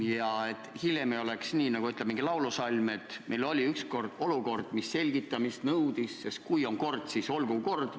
Ja hiljem ei tohi olla nii, nagu, kui veidi parafraseerida, ütleb üks laulusalm: "Meil oli ükskord olukord, mis selgitamist nõudis, sest kui on kord, siis olgu kord.